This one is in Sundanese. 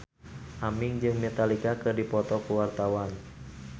Aming jeung Metallica keur dipoto ku wartawan